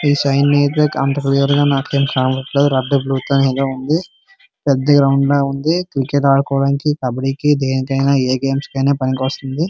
ఈ సైన్ అయితే అంత క్లియర్ గా నాకేమి కనపడట్లేదు రెడ్ బ్లూ తో ఉంది పెద్ద గ్రౌండ్ లాగా ఉంది క్రికెట్ ఆడుకోవడానికి కబడ్డీకి దేనికైనా ఏ గేమ్స్ కైనా పనికొస్తుంది.